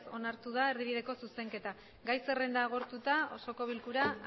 onartu da erdibideko zuzenketa gai zerrenda agortuta osoko bilkura